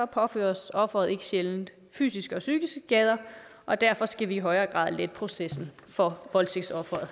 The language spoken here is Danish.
påføres offeret ikke sjældent fysiske og psykiske skader og derfor skal vi i højere grad lette processen for voldtægtsofferet